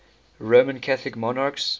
roman catholic monarchs